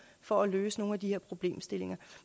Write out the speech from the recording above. for at løse nogle af de her problemstillinger